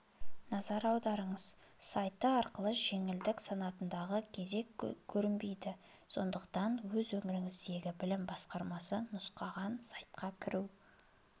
назар аударыңыз сайты арқылы жеңілдік санатындағы кезек көрінбейді сондықтан өз өңіріңіздегі білім басқармасы нұсқаған сайтқа кіру